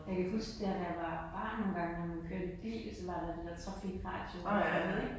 Jeg kan huske der da jeg var barn nogle gange når man kørte bil så var der den der trafikradio man havde ik